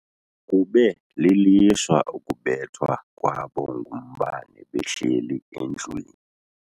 Kube lilishwa ukubethwa kwabo ngumbane behleli endlwini.